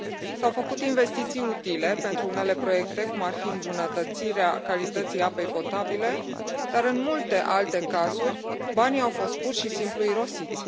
S au făcut investiții utile pentru unele proiecte, cum ar fi îmbunătățirea calității apei potabile, dar în multe alte cazuri banii au fost pur și simplu irosiți.